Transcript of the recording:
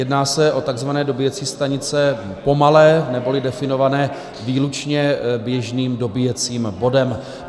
Jedná se o takzvané dobíjecí stanice pomalé, neboli definované výlučně běžným dobíjecím bodem.